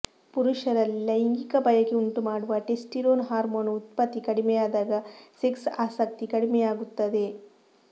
ಪುರುಷರಲ್ಲಿ ಲೈಂಗಿಕ ಬಯಕೆ ಉಂಟುಮಾಡುವ ಟೆಸ್ಟಿರೋನ್ ಹಾರ್ಮೋನ್ ಉತ್ಪತ್ತಿ ಕಡಿಮೆಯಾದಾಗ ಸೆಕ್ಸ್ ಆಸಕ್ತಿ ಕಡಿಮೆಯಾಗುತ್ತದೆ